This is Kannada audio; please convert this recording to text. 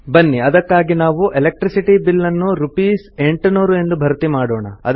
ಬನ್ನಿ ಅದಕ್ಕಾಗಿ ನಾವು ಎಲೆಕ್ಟ್ರಿಸಿಟಿ ಬಿಲ್ ಅನ್ನು ರೂಪೀಸ್ 800 ಎಂದು ಭರ್ತಿಮಾಡೋಣ